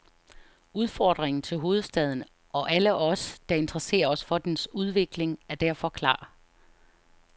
Udfordringen til hovedstaden og alle os, der interesserer os for dens udvikling, er derfor klar.